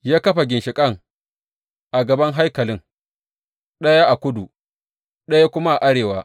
Ya kafa ginshiƙan a gaban haikalin, ɗaya a kudu, ɗaya kuma a arewa.